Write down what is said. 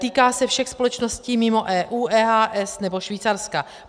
Týká se všech společností mimo EU, EHS nebo Švýcarska.